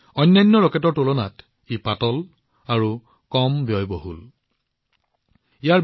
ই আন ৰকেটতকৈ পাতল আৰু লগতে সস্তা